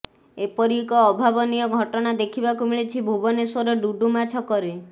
ଏପରି ଏକ ଅଭାବନୀୟ ଘଟଣା ଦେଖିବାକୁ ମିଳିଛି ଭୁବନେଶ୍ୱର ଡୁମୁଡୁମା ଛକରେ